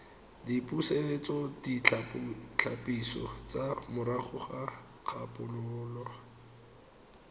dipusetsoditlhapiso tsa morago ga kgobalo